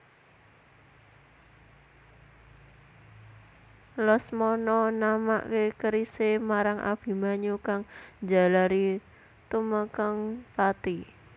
Lesmana namaké kerisé marang Abimanyu kang njalari tumekèng pati